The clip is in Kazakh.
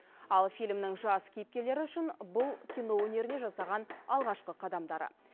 ал фильмнің жас кейіпкерлері үшін бұл кино өнеріне жасаған алғашқы қадамдары